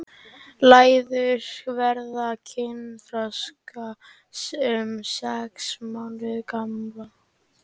Læður verða kynþroska um sex mánaða gamlar.